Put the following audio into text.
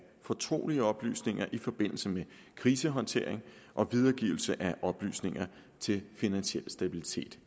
fortrolige oplysninger i forbindelse med krisehåndtering og videregivelse af oplysninger til finansiel stabilitet